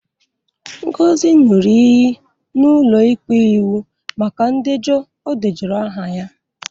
Ngozi ṅụrụ iyi n'ụlọ ikpe iwu maka ndejọ e edejọrọ aha ya.